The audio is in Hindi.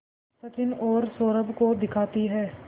सचिन और सौरभ को दिखाती है